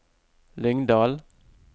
Lyngdal